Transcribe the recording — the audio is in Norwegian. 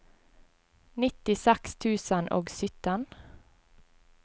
nittiseks tusen og sytten